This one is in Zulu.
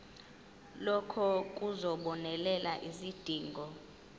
lokhu kuzobonelela izidingo